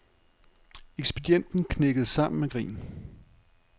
Ekspedienten knækkede sammen af grin.